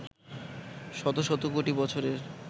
শত শত কোটি বছরের